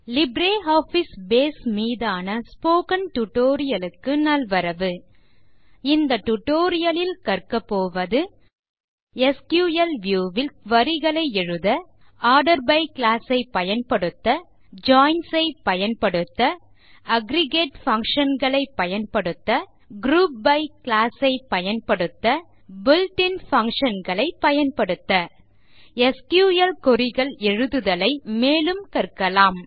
LibreOffice Base மீதான spoken tutorial க்கு நல்வரவு இந்த டியூட்டோரியல் லில் கற்கபோவது எஸ்கியூஎல் வியூ ல் குரி களை எழுத ஆர்டர் பை க்ளாஸ் ஐ பயன்படுத்த ஜாயின்ஸ் ஐ பயன்படுத்த அக்ரிகேட் பங்ஷன் களை பயன்படுத்த குரூப் பை க்ளாஸ் ஐ பயன்படுத்த பில்ட் இன் பங்ஷன் களை பயன்படுத்த எஸ்கியூஎல் queryகள் எழுதுதலை மேலும் கற்கலாம்